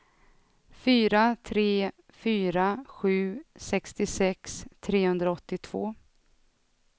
fyra tre fyra sju sextiosex trehundraåttiotvå